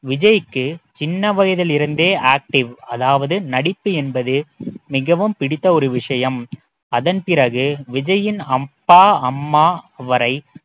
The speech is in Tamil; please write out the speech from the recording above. விஜய்க்கு சின்ன வயதில் இருந்தே active அதாவது நடிப்பு என்பது மிகவும் பிடித்த ஒரு விஷயம் அதன் பிறகு விஜயின் அப்பா அம்மா வரை